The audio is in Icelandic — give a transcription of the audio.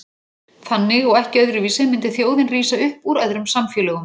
Þannig og ekki öðruvísi myndi þjóðin rísa upp úr öðrum samfélögum.